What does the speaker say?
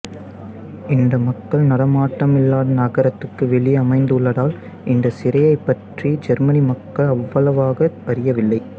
இது மக்கள் நடமாட்டமில்லாத நகரத்துக்கு வெளியே அமைந்துள்ளதால் இந்த சிறையைப்பற்றி ஜெர்மனி மக்கள் அவ்வளவாக அறியவில்லை